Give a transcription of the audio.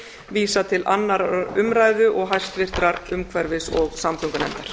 vísað til annarrar umræðu og hæstvirtrar umhverfis og samgöngunefndar